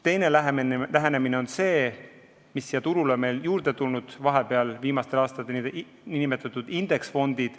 Teine lähenemine on see, mis siia turule on viimastel aastatel juurde tulnud, need on need nn indeksfondid.